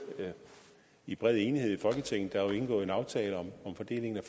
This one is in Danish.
i bred enighed i folketinget der er jo indgået en aftale om fordelingen